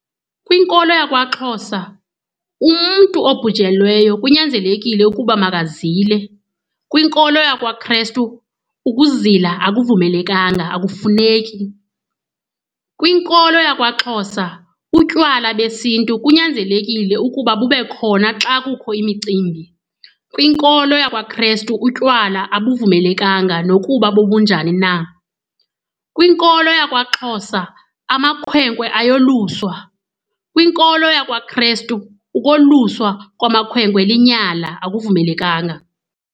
Kwinkolo yakwaXhosa umntu obhujelweyo kunyanzelekile ukuba makazile, kwinkolo yakwaKrestu ukuzila akuvumelekanga, akufuneki. Kwinkolo yakwaXhosa utywala besiNtu kunyanzelekile ukuba bube khona xa kukho imicimbi, kwinkolo yakwaKrestu utywala abavumelekanga nokuba bobunjani na. Kwinkolo yakwaXhosa amakhwenkwe ayoluswa, kwinkolo yakwaKrestu ukwalusa kwamakhwenkwe linyala, akuvumelekanga.